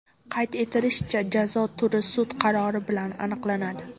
Qayd etilishicha, jazo turi sud qarori bilan aniqlanadi.